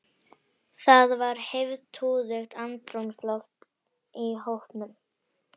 Það var heiftúðugt andrúmsloft í hópnum.